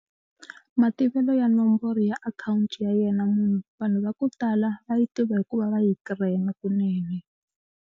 Mativelo ya nomboro ya akhawunti ya yena munhu vanhu va ku tala va yi tiva hikuva va yi cram-a kunene.